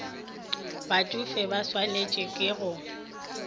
batšofe ba swantšwe ke go